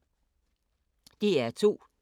DR2